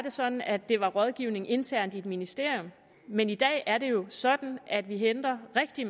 det sådan at det var rådgivning internt i et ministerium men i dag er det jo sådan at vi henter rigtig